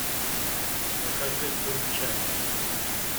покажи культ чаки